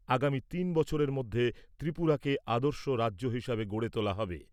আগামী তিন বছরের মধ্যে ত্রিপুরাকে আদর্শ রাজ্য হিসাবে গড়ে তোলা হবে।